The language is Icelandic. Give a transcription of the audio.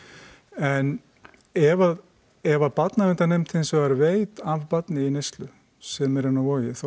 en ef ef að barnaverndarnefnd hins vegar veit af barni í neyslu sem er inni á Vogi þá